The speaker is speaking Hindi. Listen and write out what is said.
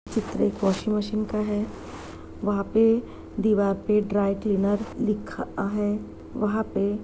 चित्र वाशिंग मशीन का है वहाँ पे दीवार पे ड्राई क्लीनर लिखा है वहाँ पे--